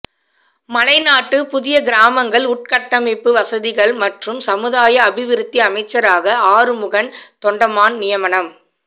மலைநாட்டு புதிய கிராமங்கள் உட்கட்டமைப்பு வசதிகள் மற்றும் சமுதாய அபிவிருத்தி அமைச்சராக ஆறுமுகன் தொண்டமான் நியமனம்